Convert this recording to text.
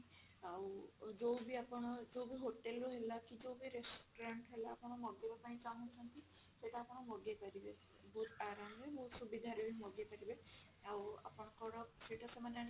ଆଉ ଯଉ ବି ଆପଣ ଯଉ ବି hotel ରୁ ହେଲା କି ଯଉ ବି restaurant ହେଲା ଆପଣ ମଗେଇବା ପାଇଁ ଚାହୁଞ୍ଚନ୍ତି ସେଇଟା ଆପଣ ମଗେଇପାରିବେ ବହୁତ ଆରମ ରେ ବହୁତ ସୁବିଧା ରେ ବି ମଗେଇପାରିବେ ଆଉ ଆପଣଙ୍କ ର ସେଇଟା ସେମାନେ ଆଣିକି